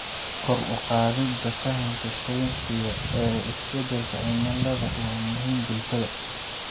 Kor u qaadida fahamka sayniska ee isbedelka cimilada waa muhiim bulshada.